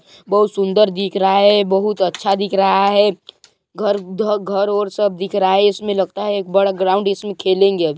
बहुत सुंदर दिख रहा है. बहुत अच्छा दिख रहा है घर घ घर और सब दिख रहा है इसमें लगता है एक बड़ा ग्राउंड इसमें खेलेंगे अभी--